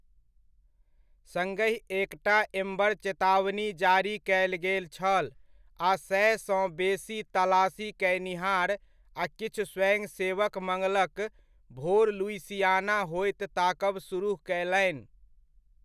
सङ्गहि एकटा एम्बर चेतावनी जारी कयल गेल छल, आ सएसँ बेसी तलाशी कयनिहार आ किछु स्वयंसेवक मङ्गलक भोर लुइसियाना होइत ताकब सुरुह कयलनि।